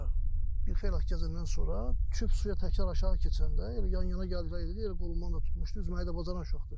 Sonra bir xeyli axtarış gedəndən sonra küp suya təkrar aşağı keçəndə elə yan-yana gəldilər, elə qolumdan da tutmuşdu, özü çimməyi də bacaran uşaqdır.